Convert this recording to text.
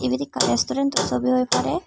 ibet ekkan restaurant o sobi oi pare.